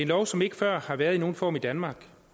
lov som ikke før har været i nogen form i danmark